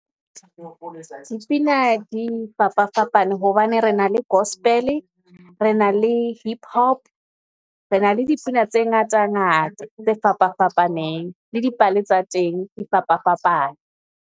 Dipina di fapafapane hobane re na le gospel, re na le hip hop. Re na le dipina tse ngata ngata tse fapa fapaneng, le dipale tsa teng di fapafapane.